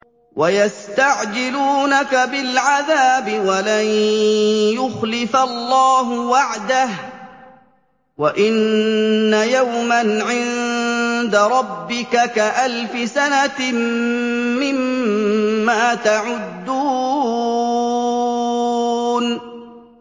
وَيَسْتَعْجِلُونَكَ بِالْعَذَابِ وَلَن يُخْلِفَ اللَّهُ وَعْدَهُ ۚ وَإِنَّ يَوْمًا عِندَ رَبِّكَ كَأَلْفِ سَنَةٍ مِّمَّا تَعُدُّونَ